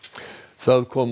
það kom